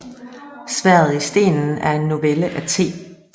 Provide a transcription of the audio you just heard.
Sværdet i stenen er en novelle af T